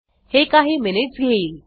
हे काही मिनिट्स घेईल